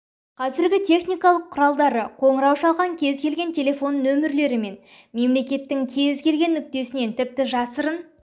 қазіргі техникалық құралдары қоңырау шалған кез келген телефон нөмірлері мен мемлекеттің кез келген нүктесінен тіпті жасырын